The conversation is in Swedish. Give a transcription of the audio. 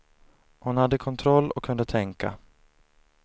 Hon hade kontroll och kunde tänka.